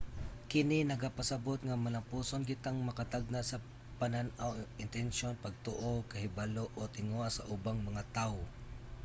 kini nagapasabot nga malampuson kitang makatagna sa panan-aw intensiyon pagtuo kahibalo o tinguha sa ubang mga tawo